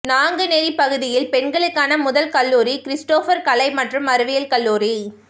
நான்குனேரி பகுதியில் பெண்களுக்கான முதல் கல்லூரி கிறிஸ்டோபா் கலை மற்றும் அறிவியல் கல்லூரி